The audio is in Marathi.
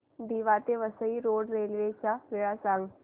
दिवा ते वसई रोड रेल्वे च्या वेळा सांगा